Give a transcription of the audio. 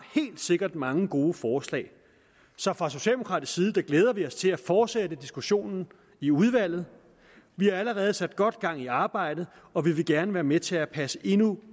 helt sikkert mange gode forslag så fra socialdemokratisk side glæder vi os til at fortsætte diskussionen i udvalget vi har allerede sat godt gang i arbejdet og vi vil gerne være med til at passe endnu